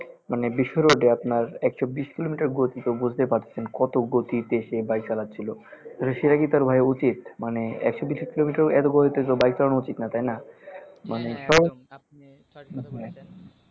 মানে বিস্ময় লাগে আপনার একশ বিশ কিলোমিটার গতি তো বুজতেই পারছেন কত গতিতে সে বাইক চালাচ্ছিলো সেটা কি ভাই তার উচিত মানে একশ বিশ কিলোমিটার এতো গতিতে তো বাইক চালানো উচিত না তাই না